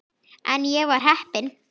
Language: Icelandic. En ég var heppin.